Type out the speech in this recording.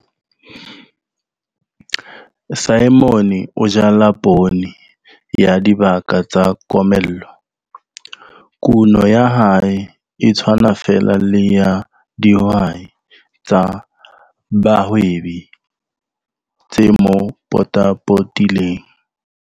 Simon o jala poone ya dibaka tsa komello. Kuno ya hae e tshwana feela le ya dihwai tsa bahwebi tse mo potapotileng.